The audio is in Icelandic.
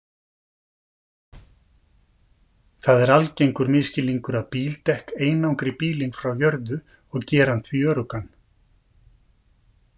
Það er algengur misskilningur að bíldekk einangri bílinn frá jörðu og geri hann því öruggan.